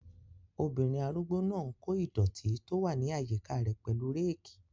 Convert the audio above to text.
Obìnrin arúgbó náà n kó ìdọ̀ọ̀tí tó wà ní àyíká rẹ̀ pẹ̀lú réèkì